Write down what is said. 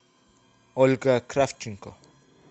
ольга кравченко